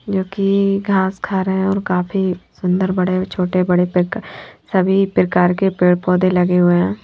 जो की घास खा रहे हैं और काफी सुंदर बड़े छोटे बड़े पेक सभी प्रकार के पेड़ पौधे लगे हुए हैं।